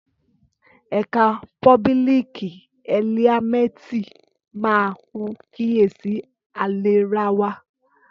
Ẹkà pòbílìkí ẹlíàmẹtí mà hún kíyèsí àlẹràwa